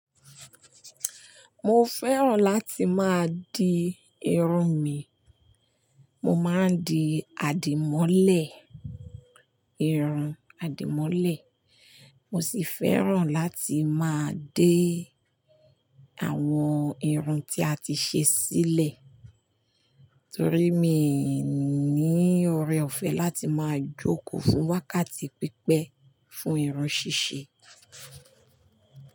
Mo fẹ́ràn láti máa di irun mi, mo máa ń di àdìmọ́lẹ̀, irun àdìmọ́lẹ̀. Mo sì fẹ́ràn láti máa dé àwọn irun tí a ti ṣe sílẹ̀, torí mi ní ọrẹ ọ̀fẹ́ láti máa jókòó fún wákàtí pípẹ́, fún irun ṣíṣe.